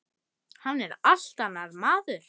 Hann er allt annar maður.